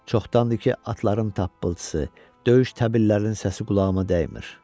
Çoxdandır ki, atların tappıltısı, döyüş təbillərinin səsi qulağıma dəymir.